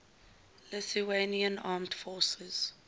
lithuanian armed forces